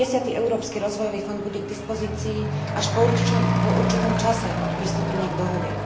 10. Európsky rozvojový fond bude k dispozícii až po určitom čase od pristúpenia k dohode.